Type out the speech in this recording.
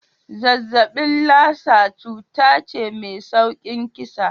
Zazzaɓin Lassa cuta ce mai saurin kisa.